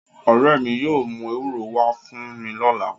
Ore mi yóò mu ewuro wa fun mi lọla